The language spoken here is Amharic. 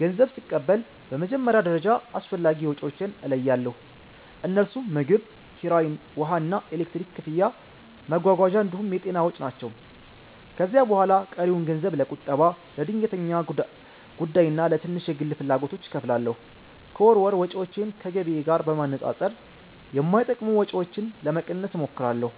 ገንዘብ ስቀበል በመጀመሪያ ደረጃ አስፈላጊ ወጪዎቼን እለያለሁ፤ እነርሱም ምግብ፣ ኪራይ፣ ውሃና ኤሌክትሪክ ክፍያ፣ መጓጓዣ እንዲሁም የጤና ወጪ ናቸው። ከዚያ በኋላ ቀሪውን ገንዘብ ለቁጠባ፣ ለድንገተኛ ጉዳይና ለትንሽ የግል ፍላጎቶች እከፋፍላለሁ። ከወር ወር ወጪዎቼን ከገቢዬ ጋር በማነጻጸር የማይጠቅሙ ወጪዎችን ለመቀነስ እሞክራለሁ።